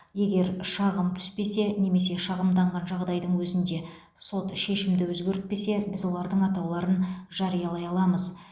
егер шағым түспесе немесе шағымданған жағдайдың өзінде сот шешімді өзгертпесе біз олардың атауларын жариялай аламыз